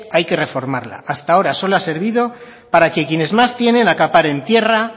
hay que reformarla hasta ahora solo ha servido para que quienes más tienen acaparen tierra